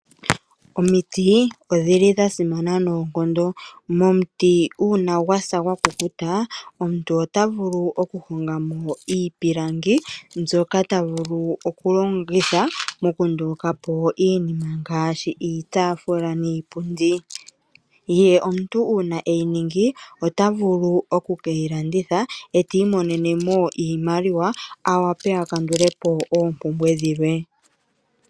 Omiti odha simana noonkondo. Momuti uuna gwa sa gwa kukuta omuntu ota vulu okuhonga mo iipilangi mbyoka ta vulu okulongitha okunduluka po iinima ngaashi iitaafula niipundi. Ye uuna e yi ningi ota vulu oku ke yi landitha e ta imonene mo iimaliwa a wape a kandule po oompumbwe dhilwe.